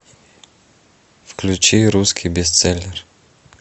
включи русский бестселлер